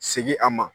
Segin a ma